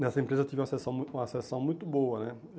Nessa empresa eu tive uma sessão uma sensação muito boa né.